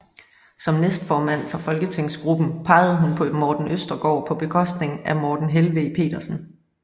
Som næstformand for folketingsgruppen pegede hun på Morten Østergaard på bekostning af Morten Helveg Petersen